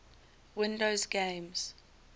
windows games